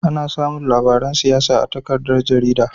Ana samin labaran siyasa a takaddar jarida